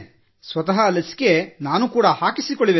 ಸ್ವತಃ ಲಸಿಕೆ ಹಾಕಿಸಿಕೊಳ್ಳುವೆ